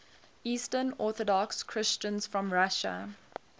eastern orthodox christians from russia